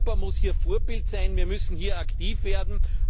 Europa muss hier Vorbild sein, wir müssen hier aktiv werden.